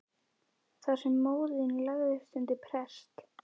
Þar sem móðir þín lagðist undir prest.